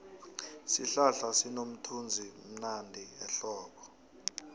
isihlahla sinomthunzivmnandi ehlobo